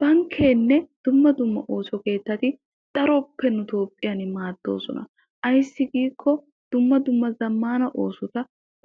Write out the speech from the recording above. Bankkeenne dumma dumma ooso keettati daroppe nu Toophphiyan maaddoosona. Ayssi giikko dumma dumma zammaana oosota